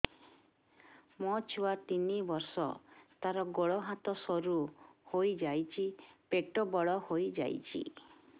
ମୋ ଛୁଆ ତିନି ବର୍ଷ ତାର ଗୋଡ ହାତ ସରୁ ହୋଇଯାଉଛି ପେଟ ବଡ ହୋଇ ଯାଉଛି